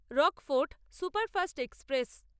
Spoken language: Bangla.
Rockfort superfast express